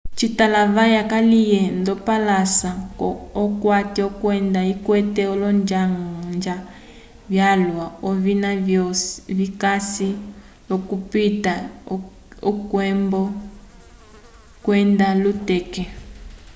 citalavaya kaliye ndopalasa yokati kwenda ikwete olonjanja vyalwa ovina vikasi l'okupita k'ekumbu kwenda luteke